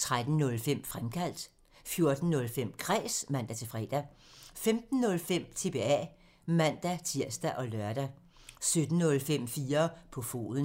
13:05: Fremkaldt (man) 14:05: Kræs (man-fre) 15:05: TBA (man-tir og lør) 17:05: 4 på foden (man)